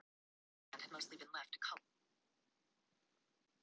Þú hringir ef þú hefur tíma og áhuga.